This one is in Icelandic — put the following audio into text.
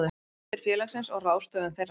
Sjóðir félagsins og ráðstöfun þeirra.